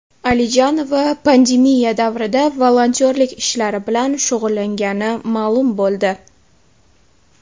Alijonova pandemiya davrida volontyorlik ishlari bilan shug‘ullangani ma’lum bo‘ldi .